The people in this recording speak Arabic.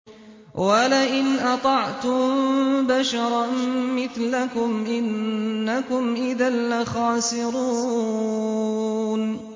وَلَئِنْ أَطَعْتُم بَشَرًا مِّثْلَكُمْ إِنَّكُمْ إِذًا لَّخَاسِرُونَ